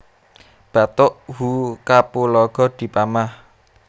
Batuk who kapulaga dipamah